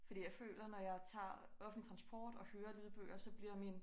Fordi jeg føler når jeg tager offentlig transport og hører lydbøger så bliver min